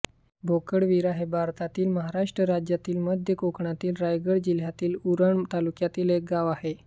बोकडवीरा हे भारतातील महाराष्ट्र राज्यातील मध्य कोकणातील रायगड जिल्ह्यातील उरण तालुक्यातील एक गाव आहे